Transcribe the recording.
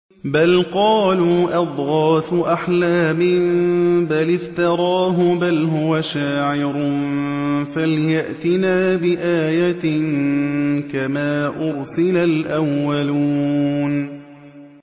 بَلْ قَالُوا أَضْغَاثُ أَحْلَامٍ بَلِ افْتَرَاهُ بَلْ هُوَ شَاعِرٌ فَلْيَأْتِنَا بِآيَةٍ كَمَا أُرْسِلَ الْأَوَّلُونَ